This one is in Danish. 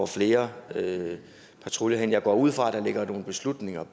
flere patruljer henne jeg går ud fra at der ligger nogle beslutninger